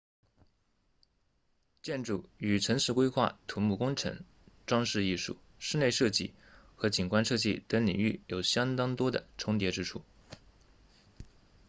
建筑与城市规划土木工程装饰艺术室内设计和景观设计等领域有相当多的重叠之处